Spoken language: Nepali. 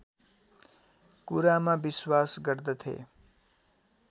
कुरामा विश्वास गर्दथे